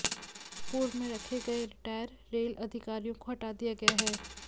पूर्व में रखे गए रिटायर रेल अधिकारियों को हटा दिया गया है